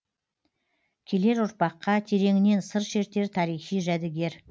келер ұрпаққа тереңінен сыр шертер тарихи жәдігер